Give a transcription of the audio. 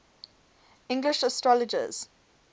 english astrologers